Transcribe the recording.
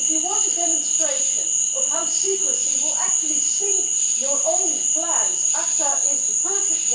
If you want a demonstration of how secrecy will actually sink your own plans, ACTA is perfect.